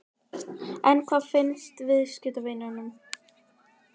En hvað finnst viðskiptavinum?